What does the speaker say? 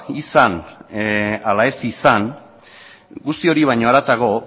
izan ala ez izan guzti hori baina haratago